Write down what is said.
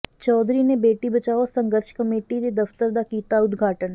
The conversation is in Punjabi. ਚੌਧਰੀ ਨੇ ਬੇਟੀ ਬਚਾਓ ਸੰਘਰਸ਼ ਕਮੇਟੀ ਦੇ ਦਫ਼ਤਰ ਦਾ ਕੀਤਾ ਉਦਘਾਟਨ